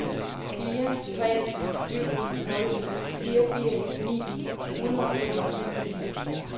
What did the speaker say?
fire tre syv nul fireogtres ni hundrede og femogtyve